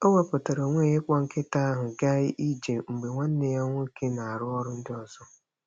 O wepuatara onwe ya ịkpọ nkịta ahụ gaa ije mgbe nwanne ya nwoke na-arụ ọrụ ndị ọzọ.